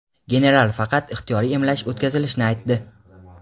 General faqat ixtiyoriy emlash o‘tkazilishini aytdi.